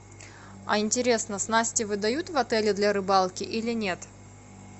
а интересно снасти выдают в отеле для рыбалки или нет